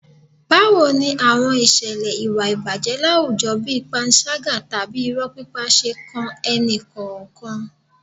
Báwo ni àwọn ìṣẹ̀lẹ̀ ìwà ìbàjẹ́ láwùjọ bí panṣágà tàbí irọ́ pípa ṣe kan ẹnì kọ̀ọ̀kan.